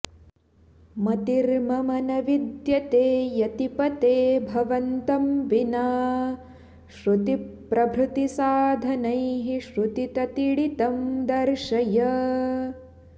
मतिर्मम न विद्यते यतिपते भवन्तं विना श्रुतिप्रभृतिसाधनैः श्रुतिततीडितं दर्शय